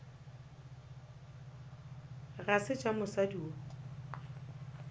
ga se tša mosadi yo